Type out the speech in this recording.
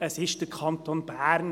Es ist der Kanton Bern.